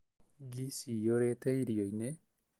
Ngi ciiyũrĩte irioinĩ